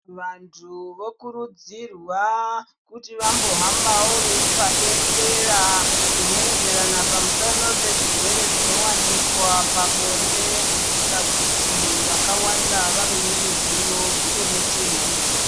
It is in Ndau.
Vantu vokurudzirwa kuti vambohambawo veipa bembera rinoenderena pamusana pezvirwere zvinowanikwa pabonde kuitira kuti vakawanda vave neruzivo uye nechnjedzo.